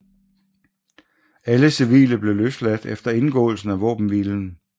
Alle civile blev løsladt efter indgåelsen af våbenhvilen